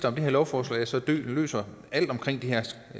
om det her lovforslag så løser alt omkring de her